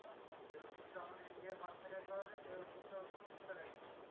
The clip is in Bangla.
যে ওষুধটা আমাদের India এ পাঁচ টাকায় পাওয়া যায় সেই ওষুধটা ওদের তিনশো টাকায় কিনতে হয়।